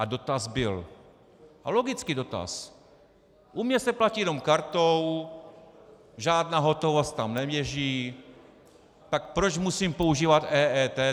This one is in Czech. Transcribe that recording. A dotaz byl, a logický dotaz: U mě se platí jen kartou, žádná hotovost tam neběží, tak proč musím používat EET?